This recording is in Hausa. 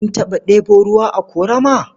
Kin taɓa ɗebo ruwa a ƙorama?